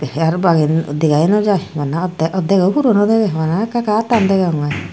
sear bangey degayo no jai bana oddek oddego puro no degey bana ekka ekka attan degongey.